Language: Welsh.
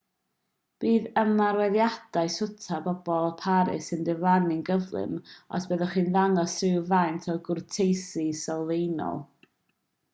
bydd ymarweddiadau swta pobl paris yn diflannu'n gyflym os byddwch chi'n dangos rhywfaint o gwrteisi sylfaenol